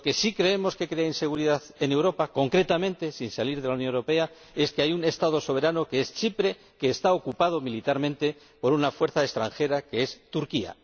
Lo que sí creemos que crea inseguridad en Europa —concretamente sin salir de la Unión Europea— es que hay un Estado soberano, Chipre, que está ocupado militarmente por una fuerza extranjera, Turquía.